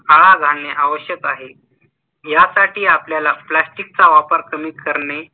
आळा घालणे आवश्यक आहे. यासाठी आपल्याला plastic चा वापर कमी करणे